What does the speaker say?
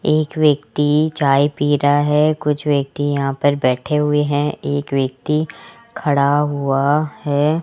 एक व्यक्ति चाय पी रहा है कुछ व्यक्ति यहां पर बैठे हुए हैं एक व्यक्ति खड़ा हुआ है।